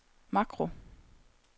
makro